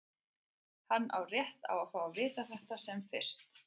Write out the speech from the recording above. Hann á rétt á að fá að vita þetta sem fyrst.